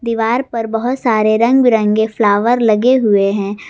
दीवार पर बहुत सारे रंग बिरंगे फ्लावर लगे हुए हैं।